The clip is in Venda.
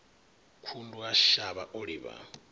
khundu a shavha o livha